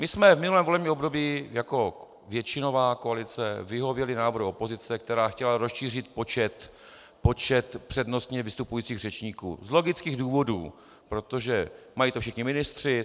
My jsme v minulém volebním období jako většinová koalice vyhověli návrhu opozice, která chtěla rozšířit počet přednostně vystupujících řečníků, z logických důvodů, protože mají to všichni ministři.